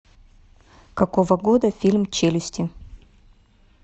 какого года фильм челюсти